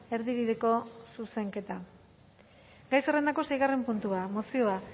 erdibideko zuzenketa gai zerrendako seigarren puntua mozioa